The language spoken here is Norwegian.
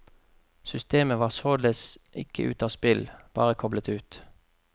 Systemet var således ikke ute av spill, bare koblet ut.